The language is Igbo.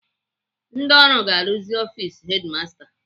Ndị ọrụ ga-arụzi ọfis hedimasta